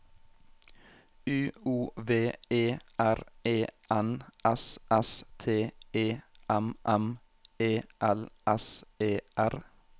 U O V E R E N S S T E M M E L S E R